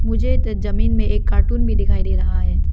मुझे तो जमीन में एक कार्टून भी दिखाई दे रहा है।